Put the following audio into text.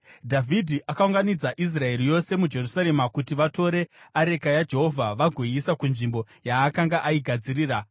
Dhavhidhi akaunganidza Israeri yose muJerusarema kuti vatore areka yaJehovha vagoiisa kunzvimbo yaakanga aigadzirira.